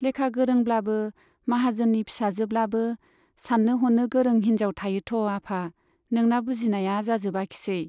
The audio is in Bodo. लेखा गोरोंब्लाबो , माहाजोननि फिसाजोब्लाबो सान्नो हनो गोरों हिन्जाव थायोथ' आफा , नोंना बुजिनाया जाजोबाखिसै।